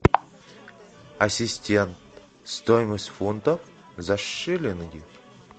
ассистент стоимость фунтов за шиллинги